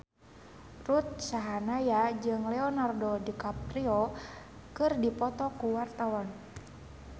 Ruth Sahanaya jeung Leonardo DiCaprio keur dipoto ku wartawan